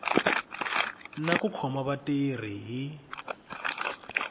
na ku khoma vatirhi hi